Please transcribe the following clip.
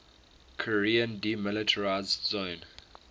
korean demilitarized zone